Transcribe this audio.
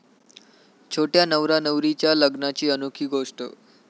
छोट्या नवरानवरीच्या लग्नाची अनोखी गोष्टी!